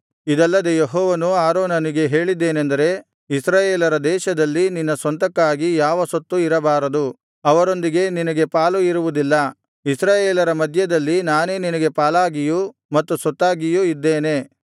ಇದಲ್ಲದೆ ಯೆಹೋವನು ಆರೋನನಿಗೆ ಹೇಳಿದ್ದೇನೆಂದರೆ ಇಸ್ರಾಯೇಲರ ದೇಶದಲ್ಲಿ ನಿನ್ನ ಸ್ವಂತಕ್ಕಾಗಿ ಯಾವ ಸ್ವತ್ತು ಇರಬಾರದು ಅವರೊಂದಿಗೆ ನಿನಗೆ ಪಾಲು ಇರುವುದಿಲ್ಲ ಇಸ್ರಾಯೇಲರ ಮಧ್ಯದಲ್ಲಿ ನಾನೇ ನಿನಗೆ ಪಾಲಾಗಿಯೂ ಮತ್ತು ಸ್ವತ್ತಾಗಿಯೂ ಇದ್ದೇನೆ